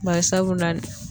Bari sabula